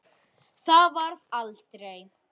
Það varð aldrei.